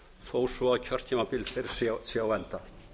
þó svo að kjörtímabil þeirra sé á enda